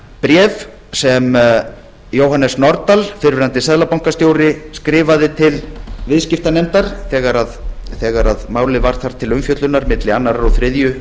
bréf sem jóhannes nordal fyrrverandi seðlabankastjóri skrifaði til viðskiptanefndar þegar málið var þar til umfjöllunar milli annars og þriðju